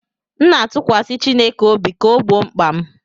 M na-atụkwasị Chineke obi ka ọ gboo mkpa m